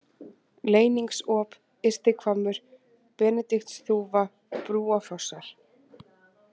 Leyningsop, Ystihvammur, Benediktsþúfa, Brúafossar